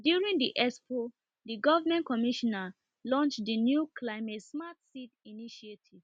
na during the expo the government commissioner launch the new seed initiative